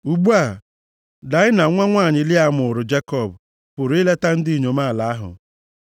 Ugbu a, Daịna nwa nwanyị Lịa mụụrụ Jekọb pụrụ ileta ndị inyom ala ahụ.